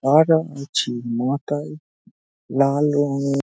মাথায় লাল রঙের--